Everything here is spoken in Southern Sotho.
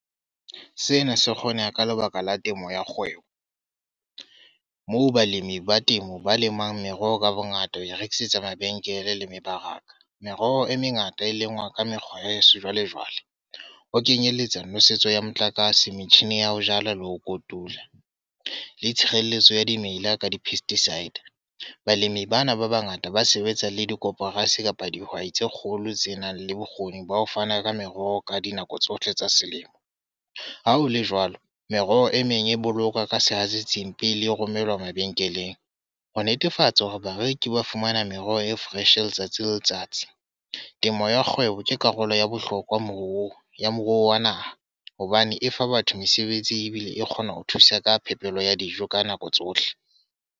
Sena se kgoneha ka lebaka la temo ya kgwebo. Moo balemi ba temo ba lemang meroho ka bongata, ho e rekisetsa mabenkele le mebaraka. Meroho e mengata e lengwa ka mekgwa ya heso jwalejwale. Ho kenyelletsa nosetso ya motlakase, metjhini ya ho jala le ho kotula. Le tshireletso ya dimela ka di-pesticide. Balemi bana ba bangata ba sebetsa le dikoporasi kapa dihwai tse kgolo tse nang le bokgoni ba ho fana ka meroho ka dinako tsohle tsa selemo. Ha ho le jwalo, meroho e meng e boloka ka sehatsetsing pele e romelwa mabenkeleng. Ho netefatsa hore bareki ba fumana meroho e fresh letsatsi le letsatsi. Temo ya kgwebo ke karolo ya bohlokwa moruong ya moruo wa naha. Hobane e fa batho mesebetsi ebile e kgona ho thusa ka phepelo ya dijo ka nako tsohle.